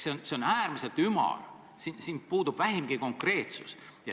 See on äärmiselt ümar, siin puudub vähimgi konkreetsus.